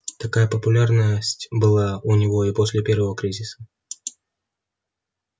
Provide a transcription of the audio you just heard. такая популярность была у него и после первого кризиса